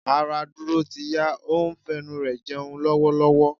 Ará Dúró ti yá, ó ń fẹnu rẹ jẹun lọ́wọ́lọ́wọ́.